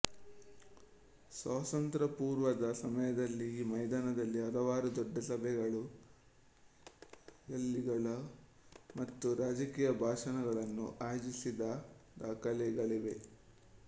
ಸ್ವಾತಂತ್ರ್ಯ ಪೂರ್ವದ ಸಮಯದಲ್ಲಿ ಈ ಮೈದಾನದಲ್ಲಿ ಹಲವಾರು ದೊಡ್ಡ ಸಭೆಗಳು ರ್ಯಾಲಿಗಳು ಮತ್ತು ರಾಜಕೀಯ ಭಾಷಣಗಳನ್ನುಆಯೋಜಿಸಿದ ದಾಖಲೆಗಳಿವೆ